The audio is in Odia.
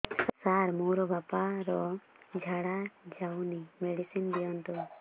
ସାର ମୋର ବାପା ର ଝାଡା ଯାଉନି ମେଡିସିନ ଦିଅନ୍ତୁ